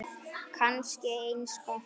Kannski eins gott.